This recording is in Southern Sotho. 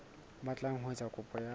batlang ho etsa kopo ya